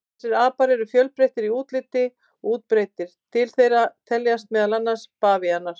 Þessir apar eru fjölbreyttir í útliti og útbreiddir, til þeirra teljast meðal annarra bavíanar.